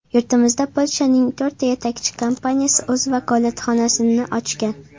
Yurtimizda Polshaning to‘rtta yetakchi kompaniyasi o‘z vakolatxonasini ochgan.